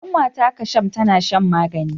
Kanwata Kasham tana shan magani.